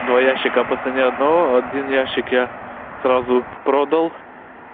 два ящика по цене одного один ящик я сразу продал